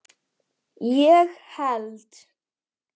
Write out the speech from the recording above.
ég held